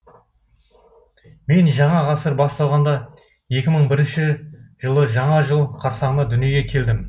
мен жаңа ғасыр басталғанда екі мың бірінші жылы жаңа жыл қарсаңында дүниеге келдім